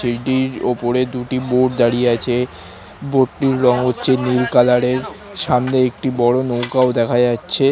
সেইটির ওপরে দুটি বোর্ড দাঁড়িয়ে আছে বোর্ড টির রং হচ্ছে নীল কালার এর সামনে একটি বড়ো নৌকাও দেখা যাচ্ছে।